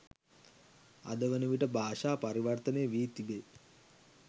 අද වනවිට භාෂා පරිවර්තනය වී තිබේ.